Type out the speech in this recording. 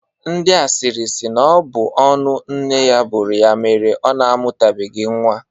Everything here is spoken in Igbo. Ndị asịrị sị na ọ bụ ọnụ nne ya buru ya mere ọ mụtabeghi nwa.